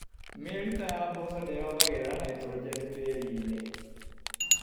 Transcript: Mĩrita ya mboco nĩyongagĩrĩra naitrogeni tĩrinĩ.